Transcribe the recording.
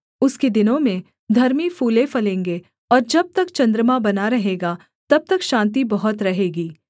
उसके दिनों में धर्मी फूले फलेंगे और जब तक चन्द्रमा बना रहेगा तब तक शान्ति बहुत रहेगी